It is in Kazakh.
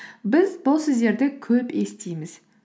біз бұл сөздерді көп естиміз